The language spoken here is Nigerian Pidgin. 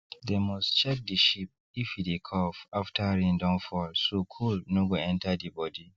dem must check the sheep if e dey cough after rain don fall so cold no go enter the body